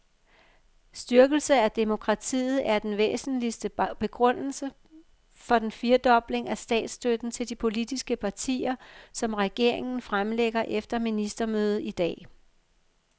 Styrkelse af demokratiet er den væsentligste begrundelse for den firedobling af statsstøtten til de politiske partier, som regeringen fremlægger efter ministermødet i dag.